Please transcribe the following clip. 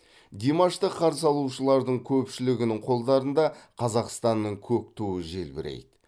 димашты қарсы алушылардың көпшілігінің қолдарында қазақстанның көк туы желбірейді